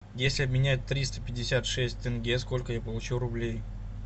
если обменять триста пятьдесят шесть тенге сколько я получу рублей